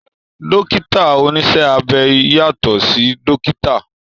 Dókítà oníṣẹ́ abẹ yàtọ̀ sí dókítà